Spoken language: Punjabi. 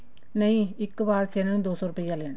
ਨਹੀਂ ਇੱਕ ਵਾਰ ਚ ਇਹਨਾ ਨੇ ਦੋ ਸੋ ਰੁਪਿਆ ਲੈਣਾ